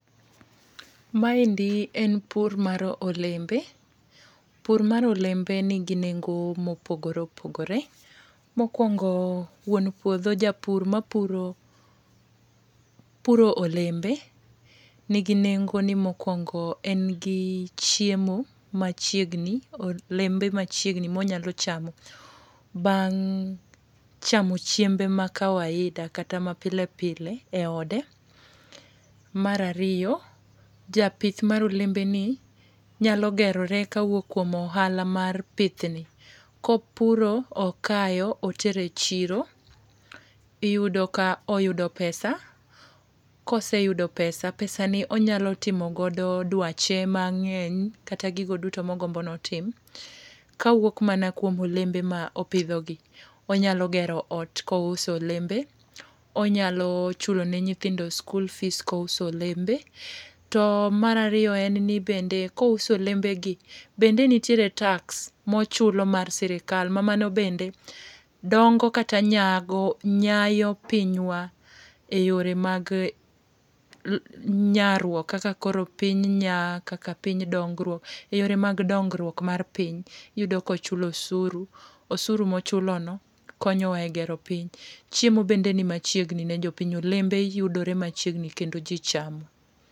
Maendi en pur mar olembe. Pur mar olember nigi nengo mopogore opogore. Mokwongo, wuon puodho japur ma puro puro olembe, nigi nengo ni mokwongo en gi chiemo machiegni olembe machiegni ma onyalo chamo, bang' chamo chiembe ma kawaida kata ma pilepile e ode. Mar ariyo, japith mar olembe ni, nyalo gerore ka wuok kuom ohala mar pithni. Kopuro, okayo, otere chiro, iyudo ka oyudo pesa. Ka oseyudo pesa, pesa ni onyalo timogodo dwache mangény, kata gigo duto ma ogombo ni otim, ka wuok mana kuom olembe ma opidhogi. Onyalo gero ot ka ouso olembe, onyalo chule ne nyithindo sikul fees ka ouso olembe. To mar ariyo en ni, bende ka ouso olembegi, bende nitiere tax ma ochulo mar sirkal, ma mano bende dongo kata nyago, nyayo pinywa e yore mag nyarruok, kaka koro piny nya, kaka piny, yore mag dongruok mar piny, iyudo ka ochulo osuru, osuru ma ochulono konyo wa e gero piny. Chiemo bende ni machiegni ne jopiny. Olembe yudore machiegni, kendo ji chamo.